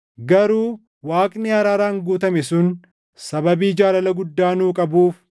Garuu Waaqni araaraan guutame sun sababii jaalala guddaa nuu qabuuf,